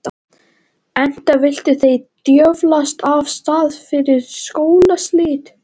Enda vildu þeir djöflast af stað fyrir skólaslit.